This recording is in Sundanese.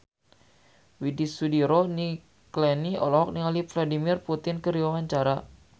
Widy Soediro Nichlany olohok ningali Vladimir Putin keur diwawancara